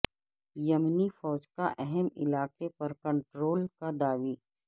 یمنی فوج کا اہم علاقے پر کنٹرول کا دعوی